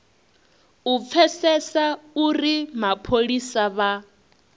u pfesesa uri mapholisa vha